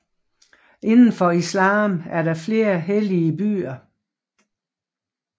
Inden for islam er der flere hellige byer